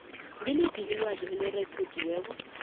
ngiliphi ilwazi elirekhodiweko